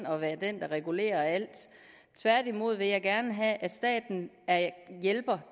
og være den der regulerer alt tværtimod vil jeg gerne have at staten er hjælper